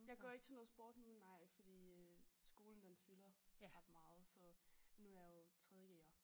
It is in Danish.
Jeg går ikke til noget sport nu nej fordi øh skolen den fylder ret meget så nu jeg jo 3.g'er